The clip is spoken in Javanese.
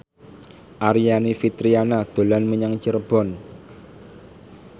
Aryani Fitriana dolan menyang Cirebon